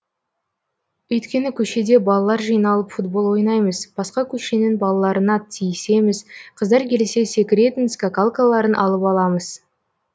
өйткені көшеде балалар жиналып футбол ойнаймыз басқа көшенің балаларына тиісеміз қыздар келсе секіретін скакалкаларын алып аламыз